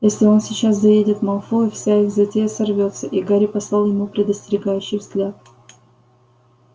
если он сейчас заедет малфою вся их затея сорвётся и гарри послал ему предостерегающий взгляд